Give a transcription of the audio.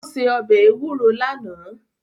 Ó se ọbẹ̀ ewúro lánàá